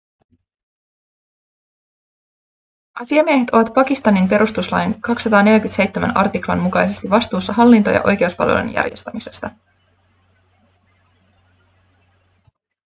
asiamiehet ovat pakistanin perustuslain 247 artiklan mukaisesti vastuussa hallinto- ja oikeuspalvelujen järjestämisestä